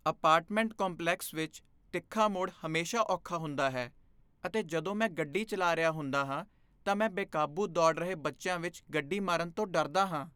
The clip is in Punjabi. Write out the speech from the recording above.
ਅਪਾਰਟਮੈਂਟ ਕੰਪਲੈਕਸ ਵਿੱਚ ਤਿੱਖਾ ਮੋੜ ਹਮੇਸ਼ਾ ਔਖਾ ਹੁੰਦਾ ਹੈ ਅਤੇ ਜਦੋਂ ਮੈਂ ਗੱਡੀ ਚਲਾ ਰਿਹਾ ਹੁੰਦਾ ਹਾਂ ਤਾਂ ਮੈਂ ਬੇਕਾਬੂ ਦੌੜ ਰਹੇ ਬੱਚਿਆਂ ਵਿੱਚ ਗੱਡੀ ਮਾਰਨ ਤੋਂ ਡਰਦਾ ਹਾਂ।